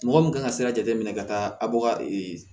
Mɔgɔ min kan ka sira jate minɛ ka taa a ba ka